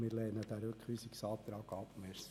Wir lehnen den Rückweisungsantrag ab.